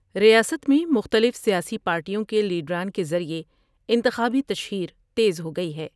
ریاست میں مختلف سیاسی پارٹیوں کے لیڈران کے ذریعے انتخابی تشہیر تیز ہو گئی ہے ۔